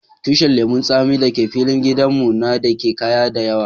Tushin lemun tsami da ke filin gidan mu na de kaya da yawa.